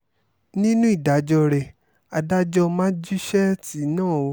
nínú ìdájọ́ rẹ adájọ́ májíṣẹ́ẹ̀tì náà o